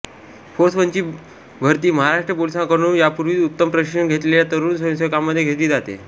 force वनची भरती महाराष्ट्र पोलिसांकडून यापूर्वीच उत्तम प्रशिक्षण घेतलेल्या तरुण स्वयंसेवकांमध्ये घेतली जाते